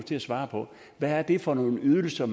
til at svare på hvad det er for nogle ydelser